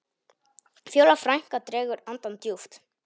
Fjóla frænka dregur andann djúpt.